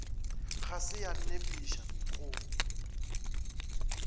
ga se ya nepiša go